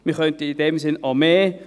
Wir könnten also auch mehr.